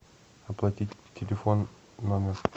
оплатить телефон номер